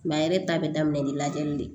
yɛrɛ ta be daminɛ ni lajɛli de ye